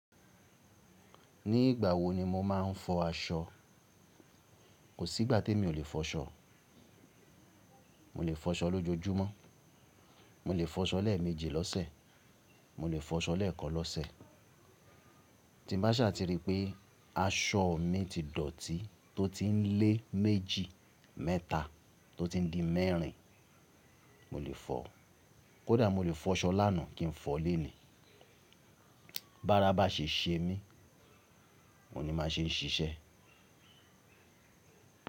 Ní ìgbà wo ni mo máa ń fọ aṣọ? Kò sí ìgbà tí mi ò lè fọ́ ṣọ. Mo lè fọ́ aṣọ lójojúmọ́, mo lè fọ́ aṣọ lẹ́ẹ̀méje lọ́sẹ̀, mo lè fọ́ aṣọ lẹ́ẹ̀kan lọ́sẹ̀. Tí n bá ṣà ti rí pé aṣọ mi ti dọ̀tí tó ti ń lé méjì, mẹ́ta tó ti ń di mẹ́rin, mo lè fọ̀. Kódà mo lè fọ́ ṣọ lánàá kí n fọ̀ lónìí. Bára bá ṣe ṣe mí, oun ni máa ṣe ṣiṣẹ́.